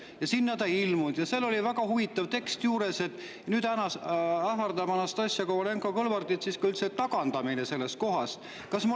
Aga seal oli veel väga huvitav tekst: nüüd ähvardab Anastassia Kovalenko‑Kõlvartit kohalt tagandamine.